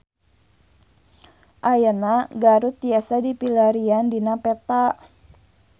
Ayeuna Garut tiasa dipilarian dina peta